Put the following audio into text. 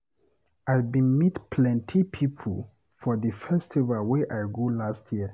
I bin meet plenty pipo for di festival wey I go last year.